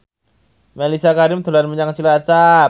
Mellisa Karim dolan menyang Cilacap